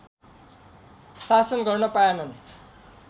शासन गर्न पाएनन्